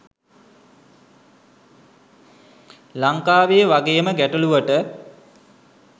ලංකාවේ වගේම ගැටළුවට